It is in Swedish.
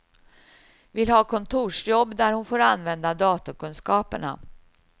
Vill ha kontorsjobb där hon får använda datorkunskaperna.